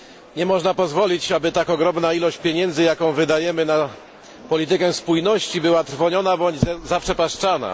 Nie można pozwolić, aby tak ogromna ilość pieniędzy, jaką wydajemy na politykę spójności była trwoniona bądź zaprzepaszczana.